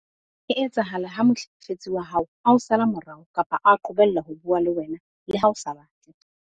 e etsahala ha mohlekefetsi wa hao a o sala morao kapa a qobella ho bua le wena le ha o sa batle.